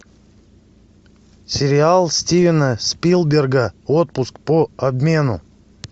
сериал стивена спилберга отпуск по обмену